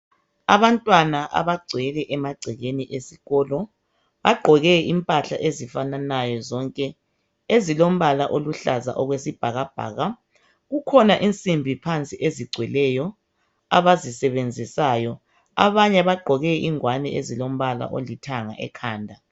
Abantwana abagcwele emagcekeni esikolo. Bagqoke impahla ezifananayo zonke. Ezilombala oluhlaza okwesibhakabhaka. Kukhona insimbi phansi ezigcweleyo, abazisebenzisayo. Abanye bagqoke ingwane ezilombala olithanga ekhanda.